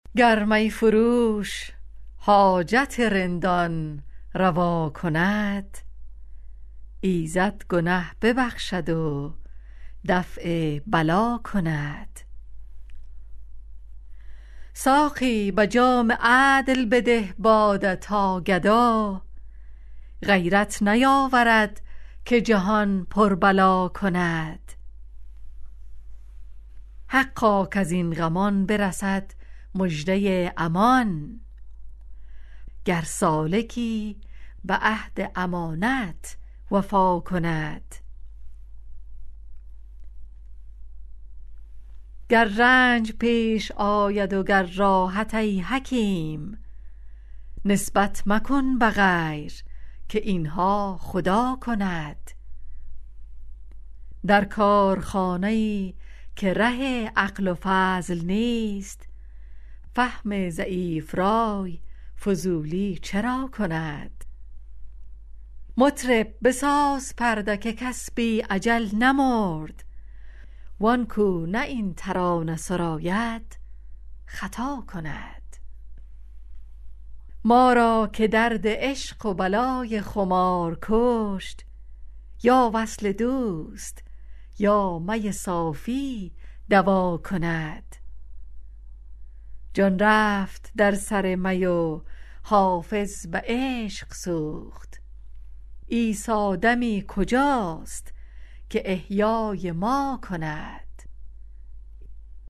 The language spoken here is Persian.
گر می فروش حاجت رندان روا کند ایزد گنه ببخشد و دفع بلا کند ساقی به جام عدل بده باده تا گدا غیرت نیاورد که جهان پر بلا کند حقا کز این غمان برسد مژده امان گر سالکی به عهد امانت وفا کند گر رنج پیش آید و گر راحت ای حکیم نسبت مکن به غیر که این ها خدا کند در کارخانه ای که ره عقل و فضل نیست فهم ضعیف رای فضولی چرا کند مطرب بساز پرده که کس بی اجل نمرد وان کو نه این ترانه سراید خطا کند ما را که درد عشق و بلای خمار کشت یا وصل دوست یا می صافی دوا کند جان رفت در سر می و حافظ به عشق سوخت عیسی دمی کجاست که احیای ما کند